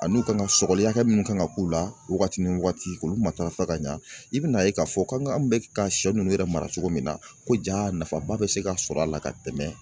Ani u kan ka sɔgɔli hakɛ mun kan ka k'u la wagati ni wagati k'olu matarafa ka ɲa i bɛna ye k'a fɔ ko an bɛ ka sɛ ninnu yɛrɛ mara cogo min na ko ja nafaba bɛ se ka sɔrɔ a la ka tɛmɛ